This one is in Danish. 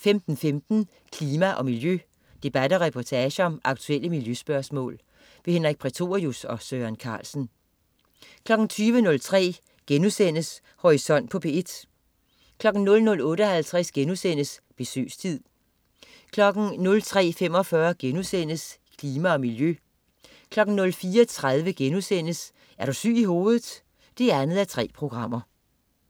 15.15 Klima og miljø. Debat og reportage om aktuelle miljøspørgsmål. Henrik Prætorius og Søren Carlsen 20.03 Horisont på P1* 00.58 Besøgstid* 03.45 Klima og miljø* 04.30 Er du syg i hovedet? 2:3*